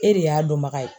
E de y'a dɔnbaga ye